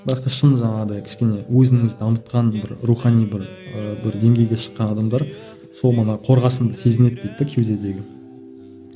бірақ та шын жаңағыдай кішкене өзін өзі дамытқан бір рухани бір ы бір деңгейге шыққан адамдар сол мана қорғасынды сезінеді дейді де кеудедегі